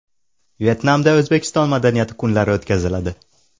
Vyetnamda O‘zbekiston madaniyati kunlari o‘tkaziladi.